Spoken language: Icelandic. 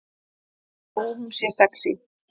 Þó hún sé sexí.